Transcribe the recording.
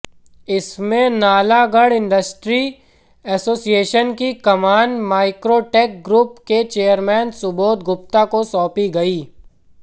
इसमें Nalagarh industry association की कमान माईक्रोटैक ग्रुप के चेयरमैन सुबोध गुप्ता को सौंपी गयी